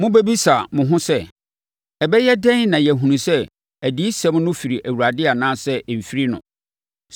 Mobɛbisa mo ho sɛ, “Ɛbɛyɛ dɛn na yɛahunu sɛ adiyisɛm no firi Awurade anaasɛ ɛmfiri no?”